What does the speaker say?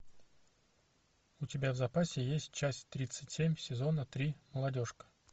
у тебя в запасе есть часть тридцать семь сезона три молодежка